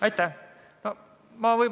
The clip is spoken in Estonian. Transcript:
Aitäh!